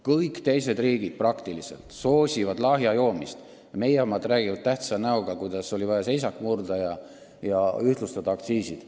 Kõik teised riigid soosivad lahja alkoholi tarbimist, meil räägitakse tähtsa näoga, et oli vaja seisakule lõpp teha ja ühtlustada aktsiisid.